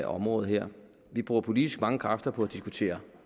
området her vi bruger politisk mange kræfter på at diskutere